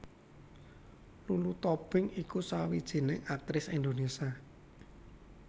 Lulu Tobing iku sawijining aktris Indonésia